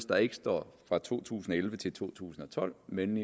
der ikke står fra to tusind og elleve til to tusind og tolv men